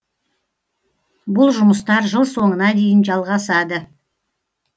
бұл жұмыстар жыл соңына дейін жалғасады